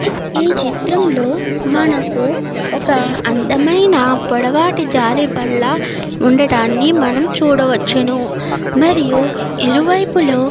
ఈ చిత్రం లో మనకి పొడవాటి జారుడు బల్ల ఉండదాన్ని మనం చూడవచ్చును. మరియు ఇరు వైపులు--